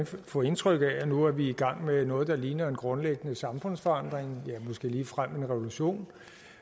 få indtrykket af at nu er vi i gang med noget der ligner en grundlæggende samfundsforandring ja måske ligefrem en revolution